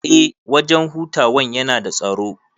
Eh wajan hutawan yana da tsaro